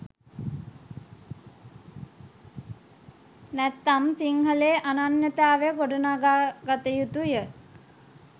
නැත්නම් සිංහලේ අනන්න්‍යතාව ගොඩනගා ගත යුතුය